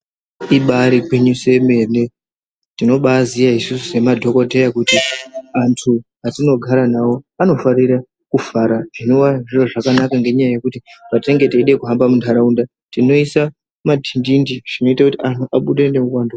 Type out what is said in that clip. Ibari gwinyiso yemene tinobaziya isusu semadhokodheya kuti antu atinogara navo anofanire kufara zvinova zviro zvakanaka ngekuti patinoda kuhamba muntaraunda tinoisa madhindindi zvinoita anhu abude neuwandu.